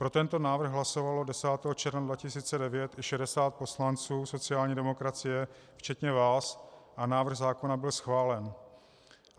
Pro tento návrh hlasovalo 10. června 2009 i 60 poslanců sociální demokracie včetně vás a návrh zákona byl schválen.